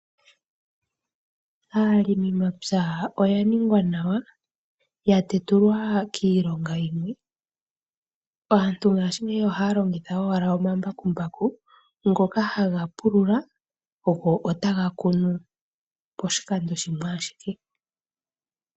Aalimimapya oya ningwa nawa yatetulwa kiilonga yimwe oshoka pongaashingeyi aantu ohaya longitha omambakumbaku ngoka haga pulula go taga kunu poshikando shimwe.